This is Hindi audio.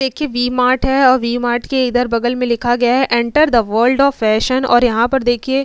देखिए वी-मार्ट है और वी-मार्ट के इधर बगल में लिखा गया हैं enter the world of fashion और यहाँ पर देखिए --